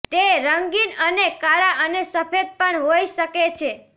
તે રંગીન અને કાળા અને સફેદ પણ હોઇ શકે છે